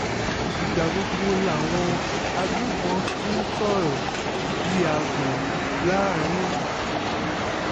ìgbà gbogbo làwọn agbébọn fi ń sọ̀rọ̀ bíi àgbọ̀n láàrin ìlú